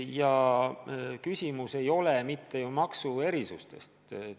Ja küsimus ei ole ju maksuerisustes.